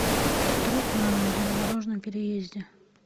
труп на железнодорожном переезде